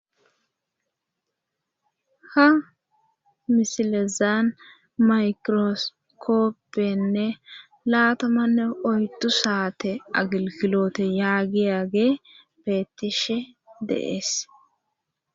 ha misilezaan maykiroskopppenne laatamanne oyddu saate agilkiloote yaagiyaage beettishe deees